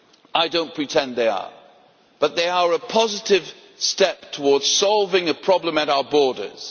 I do not pretend they are, but they are a positive step toward solving a problem at our borders.